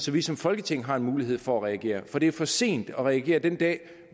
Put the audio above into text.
vi som folketing har en mulighed for at reagere for det er for sent at regere den dag